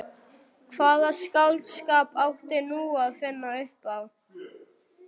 Hvaða skáldskap átti nú að finna upp á?